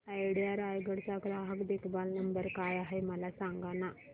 idea Raigad चा ग्राहक देखभाल नंबर काय आहे मला सांगाना